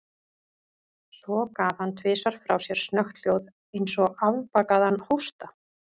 Svo gaf hann tvisvar frá sér snöggt hljóð, eins og afbakaðan hósta.